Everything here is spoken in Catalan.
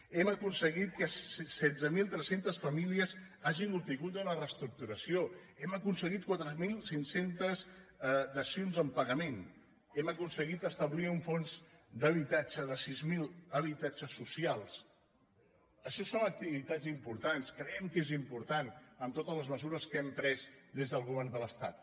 hem aconseguit que setze mil tres cents famílies hagin obtingut una reestructuració hem aconseguit quatre mil cinc cents dacions en pagament hem aconseguit establir un fons d’habitatge de sis mil habitatges socials això són ac·tivitats importants creiem que és important amb to·tes les mesures que hem pres des del govern de l’es·tat